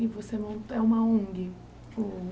E você mon é uma ONG. O